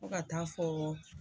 Fo ka taa fɔɔ